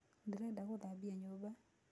Ndĩreda gũthambĩa nyũmba.